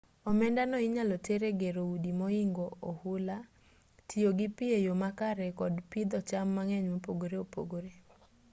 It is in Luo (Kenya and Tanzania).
omendano inyalo ter e gero udi mohingo ohula tiyo gi pi e yo makare kod pidho cham mang'eny mopogore opogore